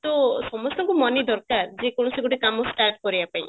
ତ ସମସ୍ତଙ୍କୁ money ଦରକାର ଯେ କୌଣସି ଗୋଟେ କାମ start କରିବା ପାଇଁ